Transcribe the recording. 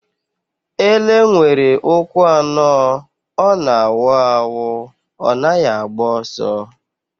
Ele nwere ụkwụ anọ. Ọ na-awu awụ. Ọ naghị agba ọsọ.